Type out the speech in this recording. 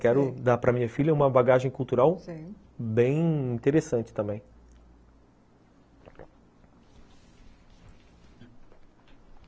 Quero dar para minha filha uma bagagem cultural, sei, bem interessante também.